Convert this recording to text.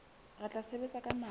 re tla sebetsa ka matla